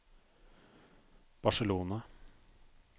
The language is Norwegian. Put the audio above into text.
Barcelona